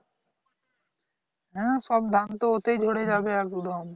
হ্যাঁ সব ধান তো ওতেই ঝরে যাবে একদম